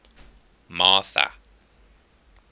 martha